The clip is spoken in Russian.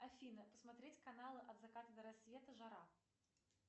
афина посмотреть каналы от заката до рассвета жара